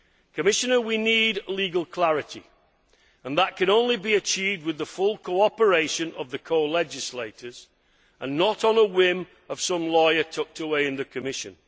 Commissioner, we need legal clarity and that can only be achieved with the full cooperation of the co legislators and not on a whim of some lawyer tucked away in the Commission.